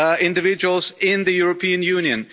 individuals in the European Union.